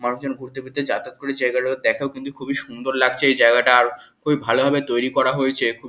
মানুষজন ঘুরতে ফিরতে যাতায়াত করে জায়গাটা দেখাও কিন্তু খুবই সুন্দর লাগছে জায়গাটা আর খুবই ভালো ভাবে তৈরী করা হয়েছে খুবই--